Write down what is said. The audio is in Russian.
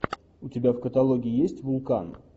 у тебя в каталоге есть вулкан